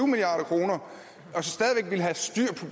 milliard kroner